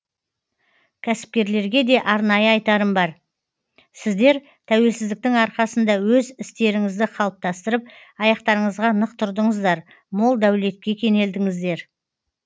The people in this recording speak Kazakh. кәсіпкерлерге де арнайы айтарым бар сіздер тәуелсіздіктің арқасында өз істеріңізді қалыптастырып аяқтарыңызға нық тұрдыңыздар мол дәулетке кенелдіңіздер